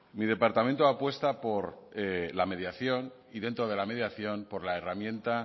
mi departamento apuesta por la mediación y dentro de la mediación por la herramienta